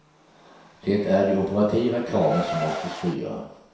Det är de operativa kraven som måste styra.